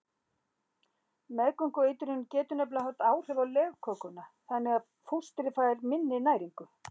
Meðgöngueitrunin getur nefnilega haft áhrif á legkökuna þannig að fóstrið fær minni næringu.